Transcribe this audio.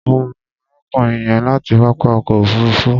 Mo mọ̀ arákùnrin yẹn láti pápá ọkọ̀ òfuruufú.